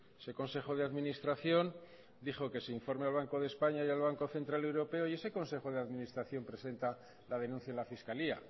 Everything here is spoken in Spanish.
ese consejo de administración dijo que se informe al banco de españa y al banco central europeo y ese consejo de administración presenta la denuncia en la fiscalía